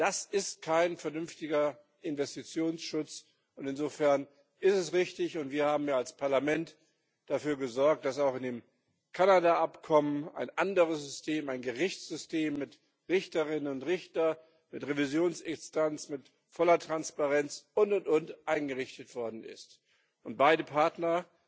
Das ist kein vernünftiger Investitionsschutz, und insofern ist es richtig und wir haben als Parlament dafür gesorgt, dass auch in dem Kanada Abkommen ein anderes System, ein Gerichtssystem mit Richterinnen und Richtern, mit Revisionsinstanz, mit voller Transparenz, und, und, und eingerichtet worden ist und sich beide Partner,